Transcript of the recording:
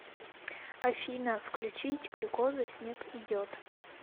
афина включить глюкоза снег идет